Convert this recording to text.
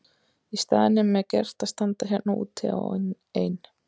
Í staðinn er mér gert að standa hérna úti á ein